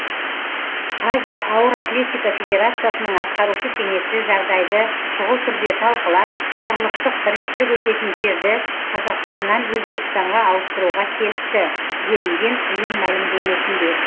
азия ауыр атлетика федерациясының атқарушы кеңесі жағдайды шұғыл түрде талқылап құрлықтық біріншілік өтетін жерді қазақстаннан өзбекстанға ауыстыруға келісті делінген ұйым мәлімдемесінде